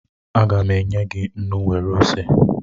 Aga m enye gị nnu nwere ose